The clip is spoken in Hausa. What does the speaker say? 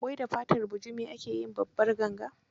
Wai da fatar bujimi ake yin Babbar ganga?